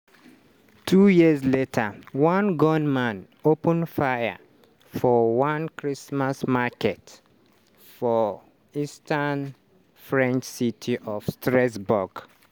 two years later one gunman open fire for one christmas market for di eastern french city of strasbourg.